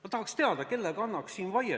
Ma tahaks teada, kellega annaks siin vaielda.